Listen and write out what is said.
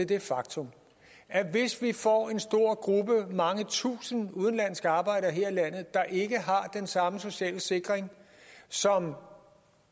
det faktum at hvis vi får en stor gruppe mange tusinde udenlandske arbejdere her i landet der ikke har den samme sociale sikring som